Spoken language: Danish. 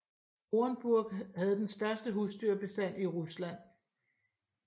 Orenburg havde den største husdyrbestand i Rusland